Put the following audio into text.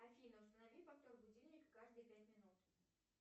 афина установи повтор будильника каждые пять минут